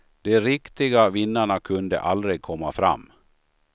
De riktiga vinnarna kunde aldrig komma fram.